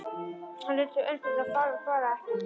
Hann leit upp undrandi og fár og svaraði ekki.